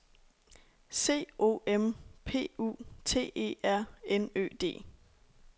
C O M P U T E R N Ø D